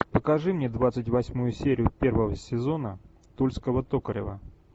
покажи мне двадцать восьмую серию первого сезона тульского токарева